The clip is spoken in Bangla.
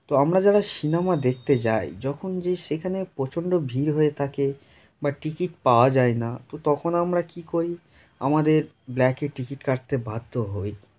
তো আমরা যারা সিনেমা দেখতে যাই যখন যে সেখানে প্রচন্ড ভিড় হয়ে থাকে বা টিকিট পাওয়া যায় না। তো তখন আমরা কি করি আমাদের ব্ল্যাক এ টিকিট কাটতে বাধ্য হই।